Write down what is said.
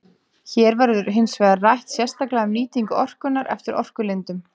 Hér verður hins vegar rætt sérstaklega um nýtingu orkunnar eftir orkulindum.